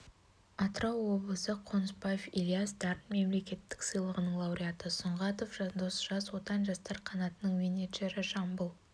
атырау облысы қонысбаев ильяс дарын мемлекеттік сыйлығының лауреаты сұңғатов жандос жас отан жастар қанатының менеджері жамбыл